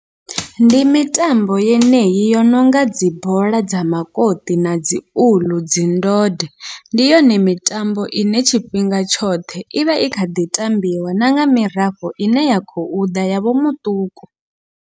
Ndi mitambo yeneyi yo nonga dzi bola dza makoṱi, nadzi uḽu, dzi ndode ndi yone mitambo ine tshifhinga tshoṱhe ivha i kha ḓi tambiwa na nga mirafho ine ya khou ḓa yavho muṱuku.